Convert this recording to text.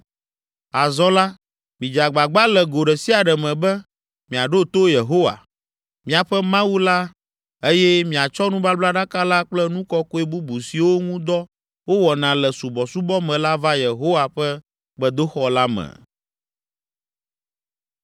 Azɔ la, midze agbagba le go ɖe sia ɖe me be, miaɖo to Yehowa, miaƒe Mawu la eye miatsɔ nubablaɖaka la kple nu kɔkɔe bubu siwo ŋu dɔ wowɔna le subɔsubɔ me la va Yehowa ƒe gbedoxɔ la me!”